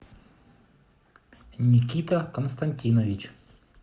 никита константинович